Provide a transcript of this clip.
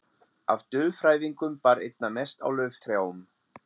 Af dulfrævingum bar einna mest á lauftrjám.